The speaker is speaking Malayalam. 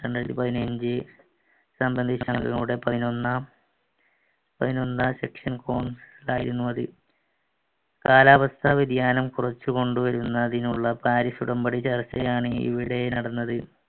രണ്ടായിരത്തി പതിനഞ്ചു പതിനൊന്നാം പതിനൊന്നാം ആയിരുന്നു അത് കാലാവസ്ഥ വ്യതിയാനം കുറച്ചു കൊണ്ടുവരുന്നതിനുള്ള പാരിസ് ഉടമ്പടി ചർച്ചയാണ് ഇവിടെ നടന്നത്